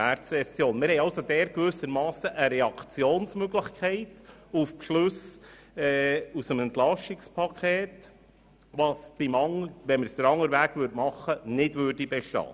Dort haben wir also gewissermassen eine Reaktionsmöglichkeit auf Beschlüsse aus dem EP, die nicht bestünde, würden wir in umgekehrter Reihenfolge vorgehen.